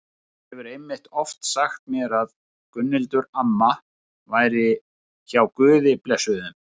Hann hefur einmitt oft sagt mér að Gunnhildur amma væri hjá Guði blessunin.